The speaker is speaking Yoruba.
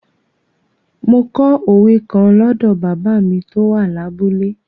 Mo kọ òwe kan lọ́dọ̀ bàbá mi tó wà lábúlé.